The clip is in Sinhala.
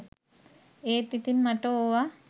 ඒත් ඉතින් මට ඕව